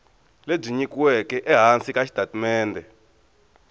lebyi nyikiweke ehansi ka xitatimende